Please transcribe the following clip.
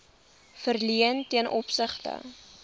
verleen ten opsigte